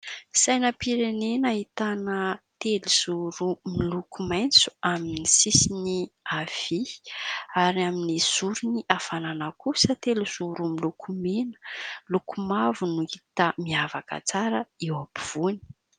Sainam-pirenena ahitana telo zoro miloko maitso amin'ny sisiny avia ary amin'ny zorony avanana kosa telo zoro miloko mena, loko mavo no hita miavaka tsara eo ampovoany.